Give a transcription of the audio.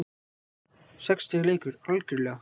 Sex stiga leikur, algjörlega.